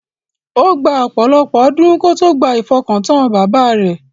Ó gba ọ̀pọ̀lọ̀pọ̀ ọdún kó tó gba ifọkàntán bàbá rẹ̀.